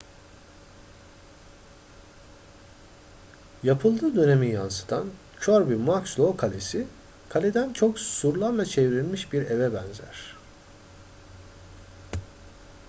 yapıldığı dönemi yansıtan kirby muxloe kalesi kaleden çok surlarla çevrilmiş bir eve benzer